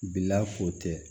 Bila ko tɛ